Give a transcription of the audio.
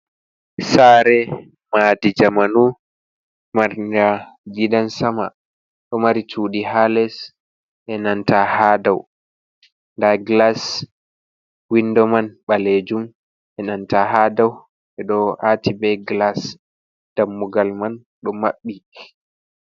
Sare madi jamanu maringa gidan sama, ɗo mari cudi ha les e nanta ha dau, nda glas windo man balejum e nanta ha dau be do ati be glas, dammugal man do maɓɓi.